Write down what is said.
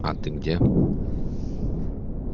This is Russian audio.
а ты где